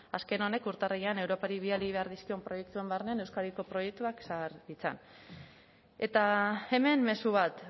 azken honek urtarrilean europar bidali behar dizkion proiektuen barne euskadiko proiektuak sar ditzan eta hemen mezu bat